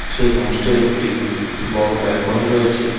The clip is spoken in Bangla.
সেই হোমসটির একটি বড়ো ব্যলকনি রয়েছে .